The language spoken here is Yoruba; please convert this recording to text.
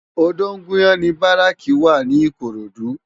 Odogunyan ni báráki wá ni Ikorodu